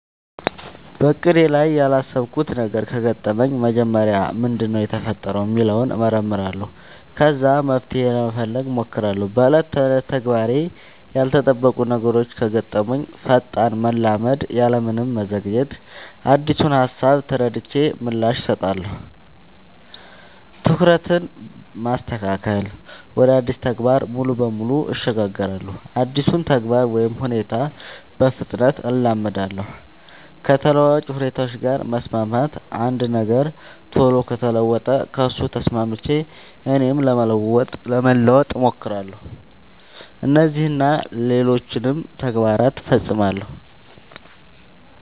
በእቅዴ ላይ ያላሰብኩት ነገር ከገጠመኝ መጀመሪያ ምንድነው የተፈጠረው ሚለውን እመረምራለሁ ከዛ መፍትሄ ለመፈለግ ሞክራለው በ ዕለት ተዕለት ተግባሬ ላይ ያልተጠበቁ ነገሮች ከገጠሙኝ ፈጣን መላመድ ያለምንም መዘግየት አዲሱን ሃሳብ ተረድቼ ምላሽ እሰጣለሁ። ትኩረትን ማስተካከል ወደ አዲሱ ተግባር ሙሉ በሙሉ እሸጋገራለሁ አዲሱን ተግባር ወይ ሁኔታ በፍጥነት እላመዳለው። ከተለዋዋጭ ሁኔታዎች ጋር መስማማት አንድ ነገር ቶሎ ከተለወጠ ከሱ ተስማምቼ እኔም ለመለወጥ ሞክራለው። እነዚህን እና ሌሎችም ተግባር ፈፅማለው።